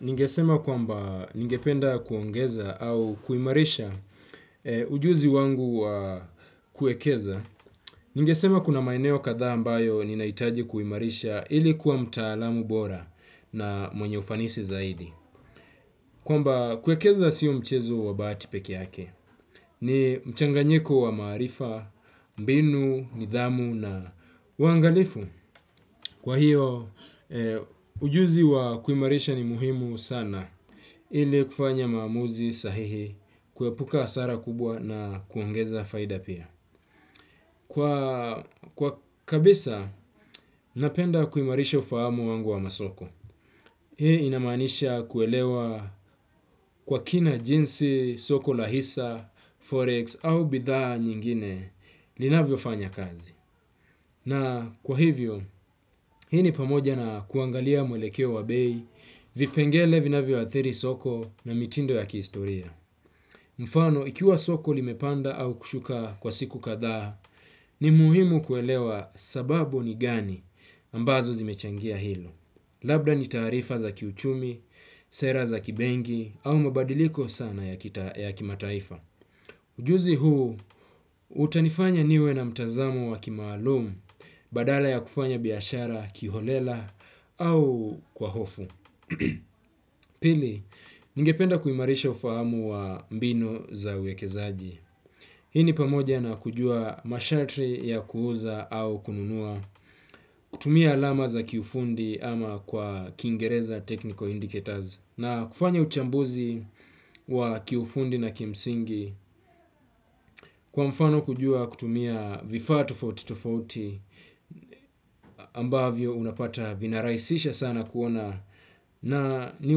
Ningesema kwamba ningependa kuongeza au kuimarisha ujuzi wangu wa kuwekeza. Ningesema kuna maeneo kadhaa ambayo ninahitaji kuimarisha ilikuwa mtaalamu bora na mwenye ufanisi zaidi. Kwamba kuwekeza siyo mchezo wa bahati peke yake. Ni mchanganyiko wa maarifa, mbinu, nidhamu na uwangalifu. Kwa hiyo, ujuzi wa kuimarisha ni muhimu sana ili kufanya maamuzi sahihi kuepuka hasara kubwa na kuongeza faida pia. Kwa kabisa, napenda kuimarisha ufahamu wangu wa masoko. Hii inamaanisha kuelewa kwa kina jinsi soko la hisa, forex au bidhaa nyingine linavyofanya kazi. Na kwa hivyo, hii ni pamoja na kuangalia mwelekeo wa bei, vipengele vinavyo athiri soko na mitindo ya kihistoria. Mfano, ikiwa soko limepanda au kushuka kwa siku kathaa, ni muhimu kuelewa sababu ni gani ambazo zimechangia hilo. Labda ni taarifa za kiuchumi, sera za kibenki, au mabadiliko sana ya kimataifa. Ujuzi huu, utanifanya niwe na mtazamo wa kimaalumu badala ya kufanya biashara, kiholela au kwa hofu. Pili, ningependa kuimarisha ufahamu wa mbinu za uwekezaji. Hii ni pamoja na kujua masharti ya kuuza au kununua, kutumia alama za kiufundi ama kwa kiingereza technical indicators, na kufanya uchambuzi wa kiufundi na kimsingi kwa mfano kujua kutumia vifaa tofauti tofauti ambavyo unapata vinarahisisha sana kuona ni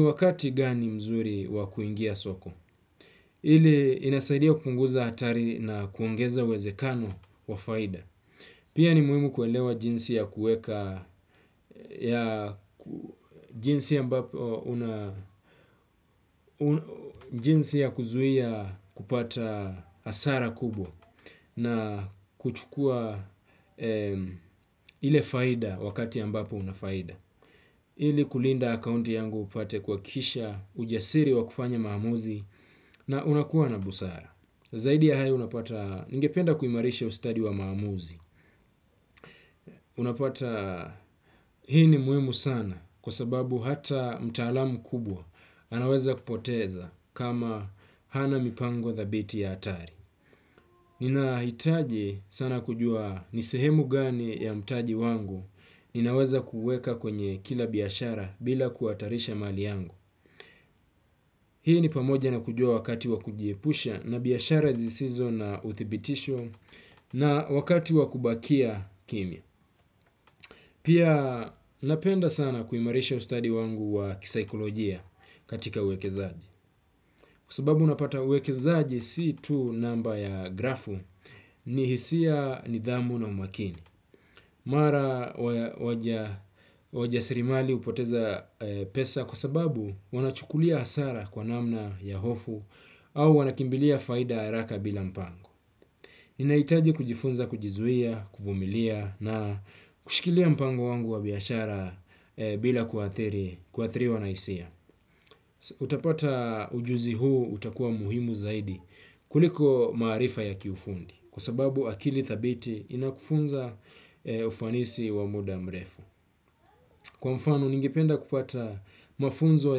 wakati gani mzuri wa kuingia soko. Ile inasaidia kupunguza hatari na kuongeza wezekano wa faida. Pia ni muhimu kuelewa jinsi ya kuweka jinsi ya kuzuia kupata hasara kubwa na kuchukua ile faida wakati ambapo unafaida. Ili kulinda akaunti yangu nipate kuhakikisha ujasiri wa kufanya maamuzi na unakuwa na busara. Zaidi ya hayo unapata ningependa kuimarisha ustadi wa maamuzi. Unapata hii ni muhimu sana kwa sababu hata mtaalamu kubwa anaweza kupoteza kama hana mipango thabiti ya hatari. Ninahitaji sana kujua nisehemu gani ya mtaji wangu. Ninaweza kuweka kwenye kila biashara bila kuhatarisha mali yangu. Hii ni pamoja na kujua wakati wa kujiepusha na biashara zisizo na uthibitisho na wakati wa kubakia kimya pia, napenda sana kuimarisha ustadi wangu wa ki saikolojia. Kwa sababu unapata uwekezaji si tu namba ya grafu ni hisia, nidhamu na umakini. Mara wajasirimali hupoteza pesa kwa sababu wanachukulia hasara kwa namna ya hofu au wanakimbilia faida ya haraka bila mpango. Inahitaji kujifunza kujizuia, kuvumilia na kushikilia mpango wangu wa biashara bila kuathiriwa na hisia. Utapata ujuzi huu utakuwa muhimu zaidi kuliko maarifa ya kiufundi. Kwa sababu akili thabiti inakufunza ufanisi wa muda mrefu. Kwa mfano, ningependa kupata mafunzo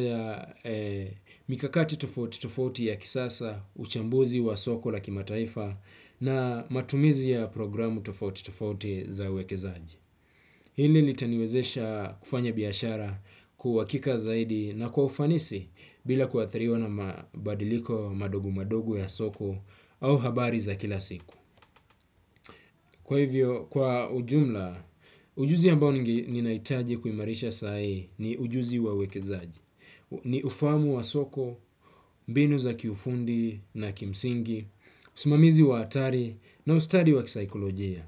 ya mikakati tofauti tofauti ya kisasa, uchambuzi wa soko la kimataifa na matumizi ya programu tofauti tofauti za wekezaji. Hili litaniwezesha kufanya biashara kuwa hakika zaidi na kwa ufanisi bila kuathiriwa na mabadiliko madogo madogo ya soko au habari za kila siku. Kwa hivyo, kwa ujumla, ujuzi ambao ninahitaji kuimarisha saa hii ni ujuzi wa wekezaji. Ni ufahamu wa soko, mbinu za kiufundi na ya kimsingi, usimamizi wa hatari na ustadi wa saikolojia.